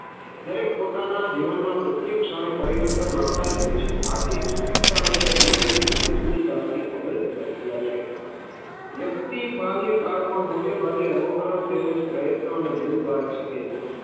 દરેક પોતાના જીવનમાં પ્રત્યએક્ષ ક્ષણે પરિવર્તન લાવતા જ હોય છે, આથી જ શિક્ષણ એ જન્મથી મૃત્યુ સુધી ચાલતી અવિરત પ્રક્રિયા છે. વ્યક્તિ બાલ્ય કાળ માં મૉટે ભાગે અનુકરન તેમજ પ્રયત્ન અને ભૂલ દ્વારા શીખે છે.